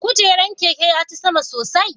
Kujeran keke ya ti sama sosai?